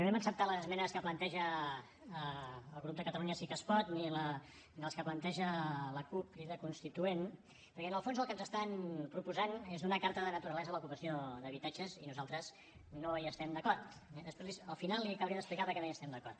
no hem acceptat les esmenes que planteja el grup de catalunya sí que es pot ni les que planteja la cup crida constituent perquè en el fons el que ens estan proposant és una carta de naturalesa a l’ocupació d’habitatges i nosaltres no hi estem d’acord eh després al final li acabaré d’explicar per què no hi estem d’acord